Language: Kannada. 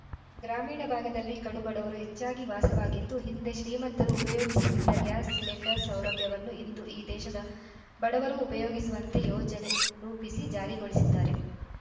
ಗ್ರಾಮೀಣ ಭಾಗದಲ್ಲಿ ಕಡುಬಡವರು ಹೆಚ್ಚಾಗಿ ವಾಸವಾಗಿದ್ದು ಹಿಂದೆ ಶ್ರೀಮಂತರು ಉಪಯೋಗಿಸುತ್ತಿದ್ದ ಗ್ಯಾಸ್‌ ಸಿಲಿಂಡರ್‌ ಸೌಲಭ್ಯವನ್ನು ಇಂದು ಈ ದೇಶದ ಬಡವರೂ ಉಪಯೋಗಿಸುವಂತೆ ಯೋಜನೆ ರೂಪಿಸಿ ಜಾರಿಗೊಳಿಸಿದ್ದಾರೆ